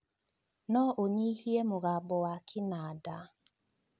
no unyihie mũgambo wa kĩnanda